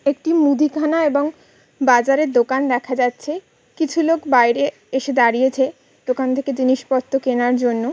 একটি মুদিখানা এবং বাজারে দোকান দেখা যাচ্ছে। কিছু লোক বাইরে এসে দাঁড়িয়েছে। দোকান থেকে জিনিসপত্র কেনার জন্য।